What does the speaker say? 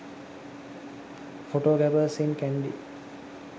photographers in kandy